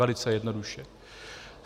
Velice jednoduše.